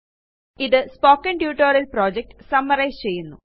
ഇത് spoken tutorial project summarise ചെയ്യുന്നു